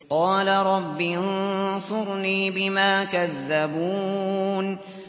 قَالَ رَبِّ انصُرْنِي بِمَا كَذَّبُونِ